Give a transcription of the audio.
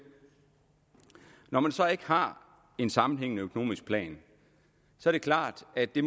når man så ikke har en sammenhængende økonomisk plan er det klart at det